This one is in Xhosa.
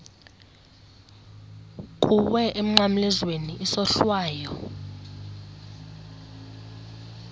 kuwe emnqamlezweni isohlwayo